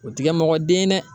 O ti kɛ mɔgɔ den ye dɛ